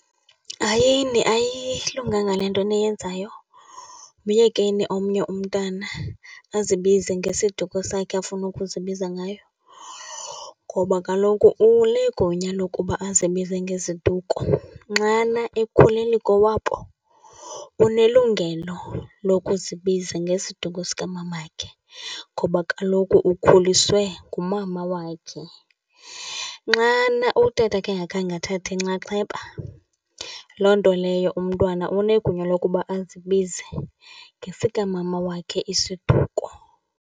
Hayini, ayilunganga le nto niyenzayo. Myekeni omnye umntana azibize ngesiduko sakhe afuna ukuzibiza ngayo, ngoba kaloku unegunya lokuba azibize ngeziduko. Nxana ekhulele kowabo, unelungelo lokuzibiza ngesiduko sikamamakhe ngoba kaloku ukhuliswe ngumama wakhe. Nxana utatakhe engakhange athathe nxaxheba, loo nto leyo umntwana unegunya lokuba azibize ngesikamama wakhe isiduko.